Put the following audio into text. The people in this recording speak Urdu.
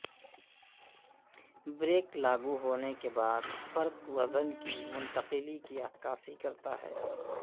بریک لاگو ہونے کے بعد فرق وزن کی منتقلی کی عکاسی کرتا ہے